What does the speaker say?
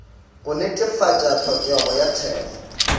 go netefatša tlhokego ya thekgo